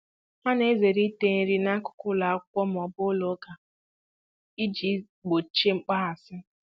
Ha na-ezere ịta nri n'akụkụ ụlọ akwụkwọ ma ọ bụ ụlọ ụka iji gbochie mkpaghasị.